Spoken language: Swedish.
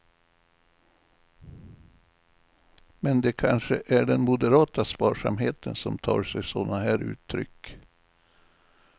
Men det kanske är den moderata sparsamheten som tar sig sådana här uttryck.